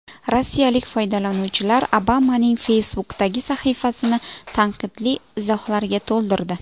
Rossiyalik foydalanuvchilar Obamaning Facebook’dagi sahifasini tanqidli izohlarga to‘ldirdi.